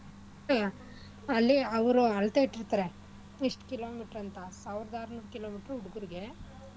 ಅಲ್ಲಿ ಅವ್ರು ಅಳತೆ ಇಟ್ಟಿರ್ತಾರೆ ಇಷ್ಟ್ kilometer ಅಂತ ಸಾವ್ರದ ಆರ್ನೂರ್ kilometer ಹುಡ್ಗುರ್ಗೆ